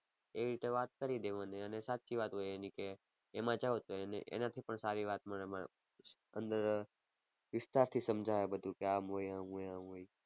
એવી રીતે વાત કરી દેવાની અને સાચી વાત હોય એની કે એમાં જાવ તો એનાથી પણ સારી વાત મને મળે અંદર વિસ્તારથી સમજાવે બધુ કે આમ હોય આમ હોય